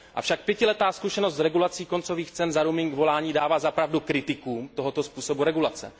Avšak pětiletá zkušenost z regulací koncových cen za roaming volání dává za pravdu kritikům tohoto způsobu regulace.